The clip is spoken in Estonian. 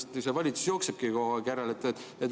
Minu arust see valitsus jooksebki kogu aeg järele.